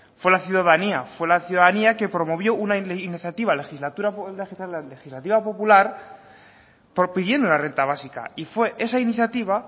fue la ciudadanía fue la ciudadanía quien promovió una iniciativa legislativa popular pidiendo la renta básica y fue esa iniciativa